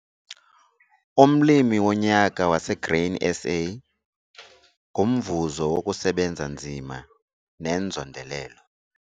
Umlimi woNyaka waseGrainSA ngumvuzo wokusebenza nzima nenzondelelo.